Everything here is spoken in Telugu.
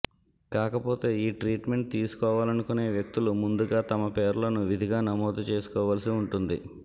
కాకపోతే ఈ ట్రీట్మెంట్ తీసుకోవాలనుకొనే వ్యక్తులు ముందుగా తమ పేర్లను విధిగా నమోదు చేసుకోవలసి ఉంటుంది